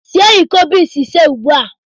Sie iko beans ise ugbu a!